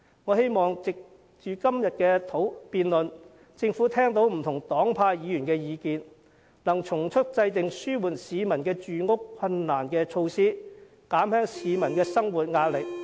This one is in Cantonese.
我希望藉着今天的辯論，政府聽到不同黨派議員的意見，能從速制訂紓緩市民住屋困難的措施，減輕市民的生活壓力。